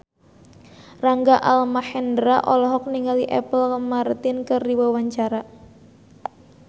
Rangga Almahendra olohok ningali Apple Martin keur diwawancara